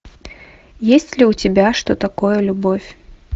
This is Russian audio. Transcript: есть ли у тебя что такое любовь